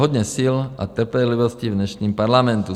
Hodně sil a trpělivosti v dnešním parlamentu.